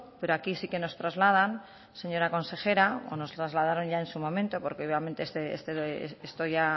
pero aquí sí que nos trasladas señora consejera o nos trasladaron ya en su momento porque obviamente esto ya